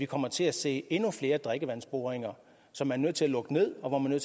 kommer til at se endnu flere drikkevandsboringer som er nødt til at lukke ned og hvor man er